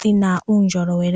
dhi na uundjolowele.